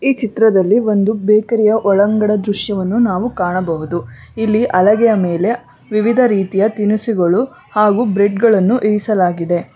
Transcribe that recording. ಈ ಚಿತ್ರದಲ್ಲಿ ಒಂದು ಬೇಕರಿ ಯ ಒಳಂಗನ ದೃಶ್ಯವನ್ನು ನಾವು ಕಾಣಬಹುದು ಇಲ್ಲಿ ಹಲಗೆಯ ಮೇಲೆ ವಿವಿಧ ರೀತಿಯ ತಿನ್ನಿಸುಗಳು ಹಾಗೂ ಬ್ರೆಡ್ ಗಳನ್ನು ಇರಿಸಲಾಗಿದೆ.